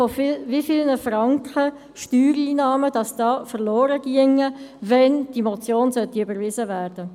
Also, wie viele Franken Steuereinnahmen gingen verloren, wenn die Motion überwiesen würde?